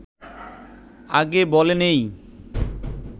আগে বলে নেই